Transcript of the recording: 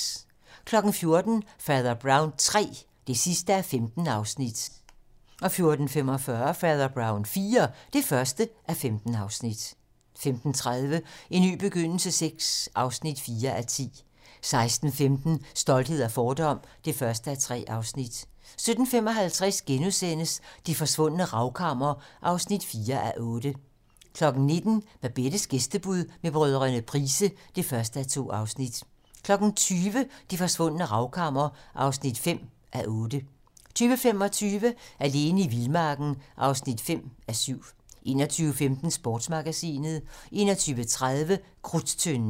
14:00: Fader Brown III (15:15) 14:45: Fader Brown IV (1:15) 15:30: En ny begyndelse VI (4:10) 16:15: Stolthed og fordom (1:3) 17:55: Det forsvundne ravkammer (4:8)* 19:00: Babettes gæstebud med brødrene Price (1:2) 20:00: Det forsvundne ravkammer (5:8) 20:25: Alene i vildmarken (5:7) 21:15: Sportsmagasinet 21:30: Krudttønden